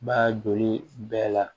Ba joli bɛɛ la